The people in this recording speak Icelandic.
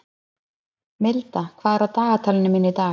Milda, hvað er á dagatalinu mínu í dag?